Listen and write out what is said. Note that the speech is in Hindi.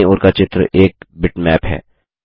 दायीं ओर का चित्र एक बिटमैप है